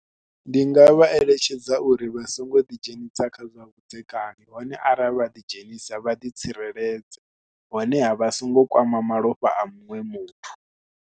Ndi nga vha eletshedza uri vha songo ḓidzhenisa kha zwavhudzekani hone arali vha ḓidzhenisa vha ḓitsireledze honeha vha songo kwama malofha a muṅwe muthu.